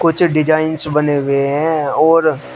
ये डिजाइंस बने हुए हैं ओर--